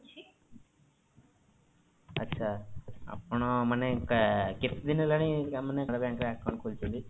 ଆଛା ଆପଣ ମାନେ କେତେଦିନ ହେଲାଣି ମାନେ canara bank ରେ account ଖୋଲିଛନ୍ତି?